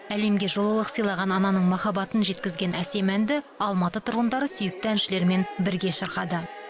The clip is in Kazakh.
әлемге жылылық сыйлаған ананың махаббатын жеткізген әсем әнді алматы тұрғындары сүйікті әншілерімен бірге шырқады